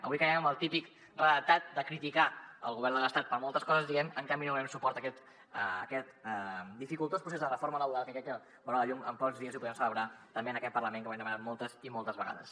avui caiem en el típic redactat de criticar el govern de l’estat per moltes coses diguem ne en canvi no donem suport a aquest dificultós procés de reforma laboral que crec que veurà la llum en pocs dies i ho podrem celebrar també en aquest parlament que ho hem demanat moltes i moltes vegades